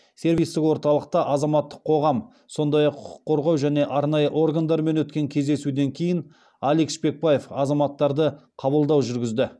сервистік орталықта азаматтық қоғам сондай ақ құқық қорғау және арнайы органдармен өткен кездесуден кейін алик шпекбаев азаматтарды қабылдау жүргізді